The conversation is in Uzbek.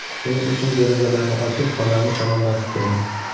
Shuning uchun derazalarni ochib, xonani shamollatib turing.